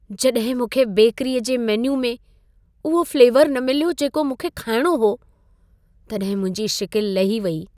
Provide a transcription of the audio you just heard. जॾहिं मूंखे बेकरीअ जे मेन्यू में उहो फ्लेवर न मिलियो, जेको मूंखे खाइणो हो, तॾहिं मुंहिंजी शिकिल लही वई।